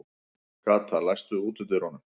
Kata, læstu útidyrunum.